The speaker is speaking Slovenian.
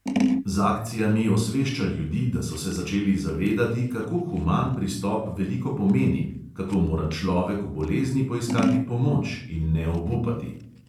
Z akcijami osvešča ljudi, da so se začeli zavedati, kako human pristop veliko pomeni, kako mora človek v bolezni poiskati pomoč in ne obupati.